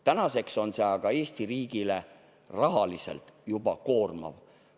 Tänaseks on see aga Eesti riigile rahaliselt koormav.